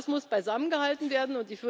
Und das muss beisammengehalten werden.